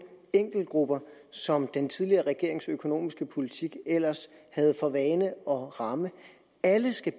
enkeltgrupper som den tidligere regerings økonomiske politik ellers havde for vane at ramme alle skal